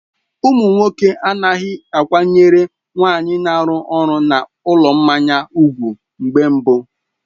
Ụmụ nwoke anaghị akwanyere nwaanyị na-arụ ọrụ na ụlọ mmanya ùgwù mgbe mbụ.